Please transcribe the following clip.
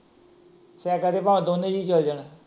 Cycle ਤੇ ਭਾਵੇ ਦੋਨੇ ਜੀਅ ਚਲੇ ਜਾਣ।